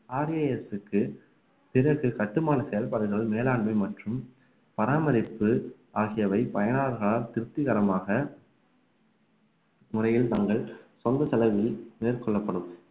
RAS க்கு பிறகு கட்டுமான செயல்பாடுகள் மேலாண்மை மற்றும் பராமரிப்பு ஆகியவை பயனாளர்களால் திருப்திகரமாக முறையில் தங்கள் சொந்த செலவில் மேற்கொள்ளப்படும்